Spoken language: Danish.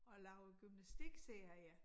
Og lavet gymnastikserie